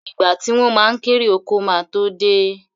Ìgbà tí wọ́n ma kérè oko ma tó dé